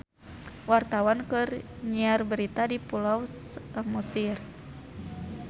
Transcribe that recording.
Wartawan keur nyiar berita di Pulau Samosir